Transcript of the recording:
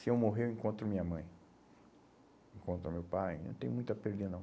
Se eu morrer, eu encontro minha mãe, encontro meu pai, não tem muito a perder, não.